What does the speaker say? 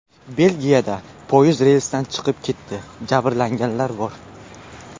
Belgiyada poyezd relsdan chiqib ketdi, jabrlanganlar bor.